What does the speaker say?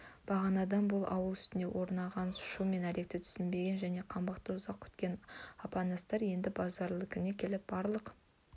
бағанадан бұл ауыл үстіне орнаған шу мен әлекті түсінбеген және қаңбақты ұзақ күткен апанастар енді базаралынікіне келіп барлық